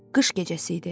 Qış gecəsi idi.